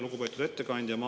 Lugupeetud ettekandja!